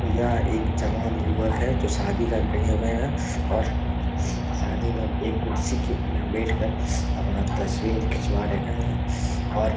यह एक जवान युवक है जो शादी घर गए हुए है और शादी में एक कुर्सी के में बैठ कर अपना तस्वीर खिचवा रहे है। और --